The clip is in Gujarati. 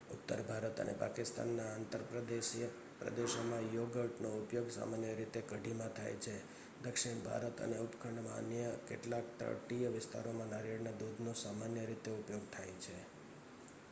ઉત્તર ભારત અને પાકિસ્તાનના અંતરદેશીય પ્રદેશોમાં યોગર્ટનો ઉપયોગ સામાન્ય રીતે કઢીમાં થાય છે દક્ષિણ ભારત અને ઉપખંડમાં અન્ય કેટલાક તટીય વિસ્તારોમાં નારિયેળના દૂધનો સામાન્ય રીતે ઉપયોગ થાય છે